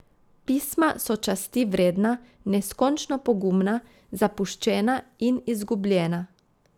Pisma so časti vredna, neskončno pogumna, zapuščena in izgubljena.